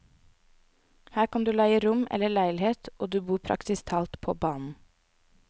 Her kan du leie rom eller leilighet og du bor praktisk talt på banen.